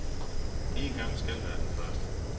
En gang skal være den første.